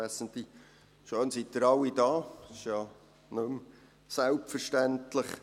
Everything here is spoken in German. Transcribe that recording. Das ist ja nicht mehr selbstverständlich.